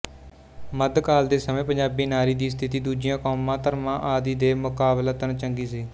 ਮੱਧਕਾਲ ਦੇ ਸਮੇਂ ਪੰਜਾਬੀ ਨਾਰੀ ਦੀ ਸਥਿਤੀ ਦੂਜੀਆਂ ਕੌਮਾਂ ਧਰਮਾਂ ਆਦਿ ਦੇ ਮੁਕਾਬਲਤਨ ਚੰਗੀ ਸੀ